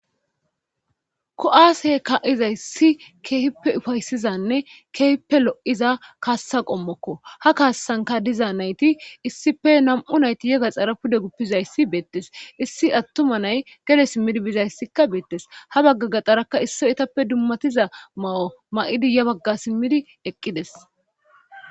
kuwaase ka7izayssi keefippe ufaysizanne keefippe lo7iza kaassa qommokko ha kaassanka diza nayti issife nam7u nayti yega xara pude guppizayssi beettes issi attuma nay gede simmidi bizayssikka beettes ha bagga gaxaraka isso etappe dummatiza ma7o ma7idi ya bagga simmidi eqqides